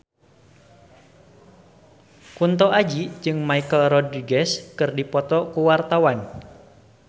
Kunto Aji jeung Michelle Rodriguez keur dipoto ku wartawan